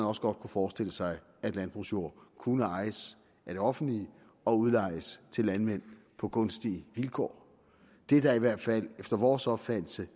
også godt kunne forestille sig at landbrugsjord kunne ejes af det offentlige og udlejes til landmænd på gunstige vilkår det er da i hvert fald efter vores opfattelse